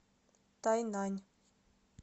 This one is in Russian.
тайнань